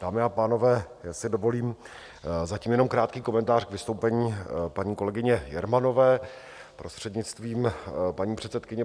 Dámy a pánové, já si dovolím zatím jenom krátký komentář k vystoupení paní kolegyně Jermanové, prostřednictvím paní předsedkyně.